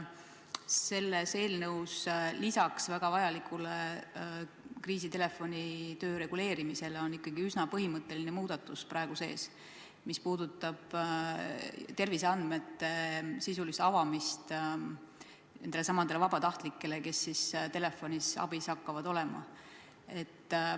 Selles eelnõus on peale väga vajaliku kriisitelefoni töö reguleerimise praegu sees ikkagi üsna põhimõtteline muudatus, mis puudutab terviseandmete sisulist avamist nendelesamadele vabatahtlikele, kes hakkavad olema telefonile vastamisel abiks.